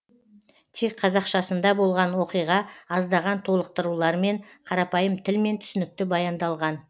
тек қазақшасында болған оқиға аздаған толықтырулармен қарапайым тілмен түсінікті баяндалған